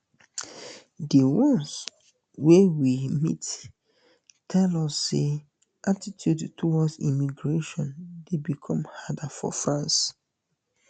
di um ones wey we um meet tell us say attitudes towards immigration dey become harder for france